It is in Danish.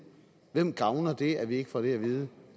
hvem gavner det at vi ikke får det at vide